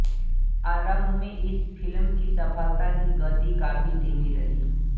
आरंभ में इस फिल्म की सफलता की गति काफी धीमी रही